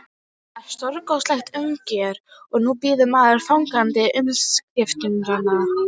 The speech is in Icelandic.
Það var stórkostlegt uppgjör og nú bíður maður fagnandi umskiptanna.